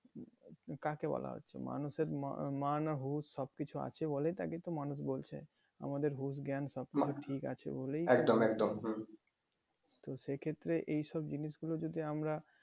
কাকে বলা হচ্ছে মানুষের মান হুশ সব কিছু আছে বলেই তাকে তো মানুষ বলছে। আমাদের হুশ জ্ঞান সব কিছু ঠিক আছে বলেই তো সে ক্ষেত্রে এই সব জিনিস গুলো যদি আমরা